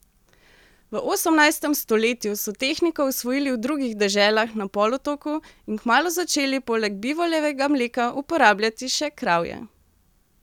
V osemnajstem stoletju so tehniko osvojili v drugih deželah na polotoku in kmalu začeli poleg bivoljega mleka uporabljati še kravje.